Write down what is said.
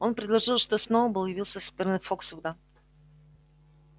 он предположил что сноуболл явился со стороны фоксвуда